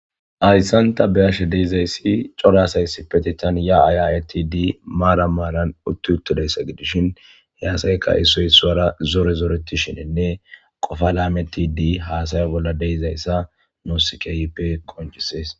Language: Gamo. Hayssanta beashe deizayssi corasayssi petitan ya ayayatidi maara maaran utti uttodayssa gidishin he asayka issoy suwara zore zoreti shinenne qofa laametidi haasaya bolla deizayssa noosikeyipe qonchisees